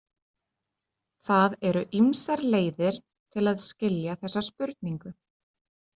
Það eru ýmsar leiðir til að skilja þessa spurningu.